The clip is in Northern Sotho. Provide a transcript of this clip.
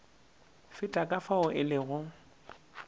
feta ka fao e lego